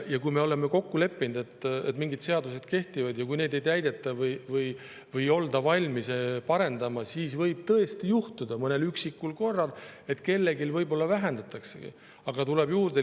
Kui me oleme kokku leppinud, et mingid seadused kehtivad, aga kui neid ei täideta või ei olda valmis parendama, siis võib tõesti juhtuda mõnel üksikul korral, et kellelgi võib-olla vähendataksegi.